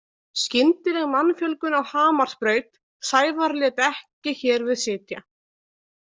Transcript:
Skyndileg mannfjölgun á Hamarsbraut Sævar lét ekki hér við sitja.